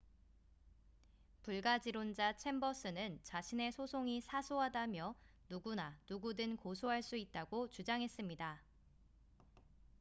"불가지론자 챔버스는 자신의 소송이 "사소하다""며 "누구나 누구든 고소할 수 있다""고 주장했습니다.